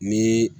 Ni